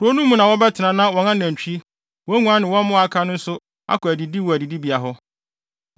Nkurow no mu na wɔbɛtena na wɔn anantwi, wɔn nguan ne wɔn mmoa a aka no nso akɔ adidi wɔ adidibea hɔ.